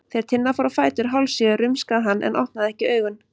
Þegar Tinna fór á fætur hálfsjö rumskaði hann en opnaði ekki augun.